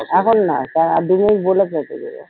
এখন না দাঁড়া আর দু মিনিট বলে কেটে দেব।